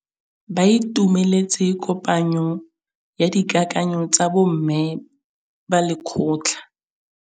Ba itumeletse kôpanyo ya dikakanyô tsa bo mme ba lekgotla.